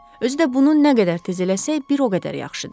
Özü də bunu nə qədər tez eləsək, bir o qədər yaxşıdı.